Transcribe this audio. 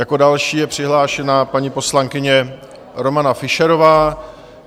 Jako další je přihlášena paní poslankyně Romana Fischerová.